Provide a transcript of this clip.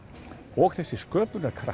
og þessi sköpunarkraftur